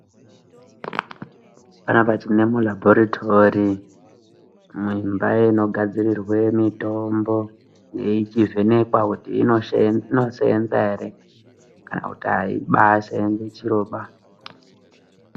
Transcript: Panapa tine mulaboratory Mumba munigadzirwe mitombo ichivhenekwa kuti inosenza here kana kuti haisenzi chiro ba